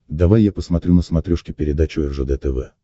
давай я посмотрю на смотрешке передачу ржд тв